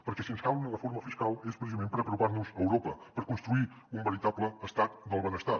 perquè si ens cal una reforma fiscal és precisament per apropar nos a europa per construir un veritable estat del benestar